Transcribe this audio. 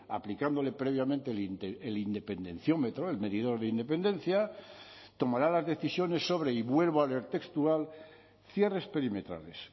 aplicándole previamente el independenciómetro el medidor de independencia tomará las decisiones sobre y vuelvo a leer textual cierres perimetrales